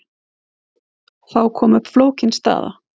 Þá kom upp flókin staða.